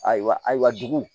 Ayiwa ayiwa dugu